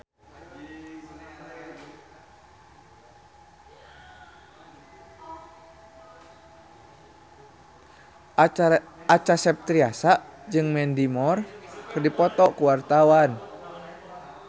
Acha Septriasa jeung Mandy Moore keur dipoto ku wartawan